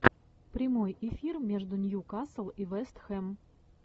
прямой эфир между ньюкасл и вест хэм